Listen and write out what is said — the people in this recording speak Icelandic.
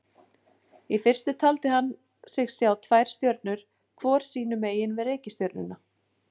Í fyrstu taldi hann sig sjá tvær stjörnur hvor sínu megin við reikistjörnuna.